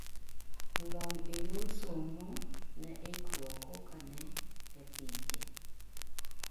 lony e yor somo ne ikruok koka ne e pije